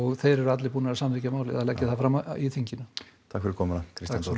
þeir eru allir búnir að samþykkja að leggja það fram í þinginu takk fyrir komuna Kristján Þór